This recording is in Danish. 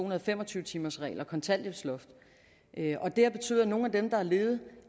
og fem og tyve timersregel og kontanthjælpsloft og det har betydet at nogle af dem der har levet